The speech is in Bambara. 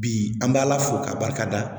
Bi an b'ala fo k'a barikada